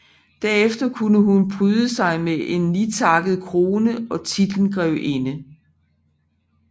Derefter kunne hun pryde sig med en nitakket krone og titlen grevinde